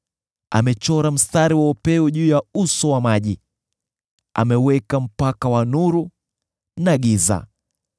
Amechora mstari wa upeo juu ya uso wa maji, ameweka mpaka wa nuru na giza.